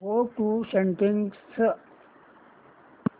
go to settings